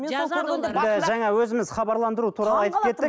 жаңа өзіміз хабарландыру туралы айтып кеттік